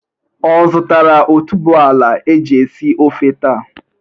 Ọ zutara otuboala e ji esi ofe taa?